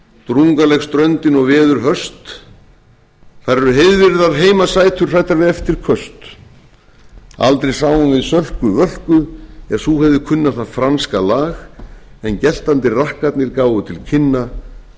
drungaleg ströndin og veður höst þar eru heiðvirðar heimasætur hræddar við eftirköst aldrei sáum við sölku völku en sú hefði kunnað það franska lag en geltandi rakkarnir gáfu til kynna göfugan sveitabrag